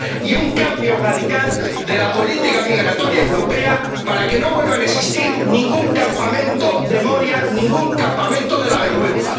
y un cambio radical de la política migratoria europea para que no vuelva a existir ningún campamento de Moria, ningún campamento de la vergüenza.